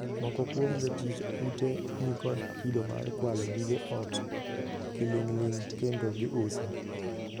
Moko kuom jotij ute ni kod kido mar kwalo gige ot kiling'ling, kendo gi uso.